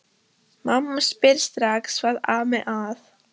Mamma spyr strax hvað ami að.